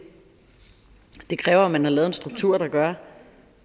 det kræver at man har lavet en struktur der gør